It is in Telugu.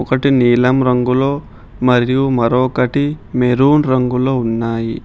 ఒకటి నీలం రంగులో మరియు మరొకటి మెరూన్ రంగులో ఉన్నాయి.